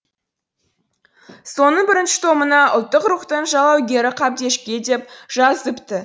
соның бірінші томына ұлттық рухтың жалаугері қабдешке деп жазыпты